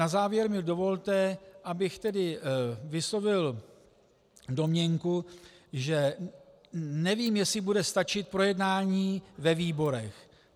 Na závěr mi dovolte, abych tedy vyslovil domněnku, že nevím, jestli bude stačit projednání ve výborech.